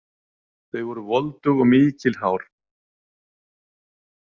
Þau voru voldug og mikil hár.